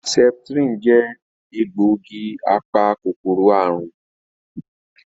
Sẹ́pítírínì jẹ egbògi apa-kòkòrò àrùn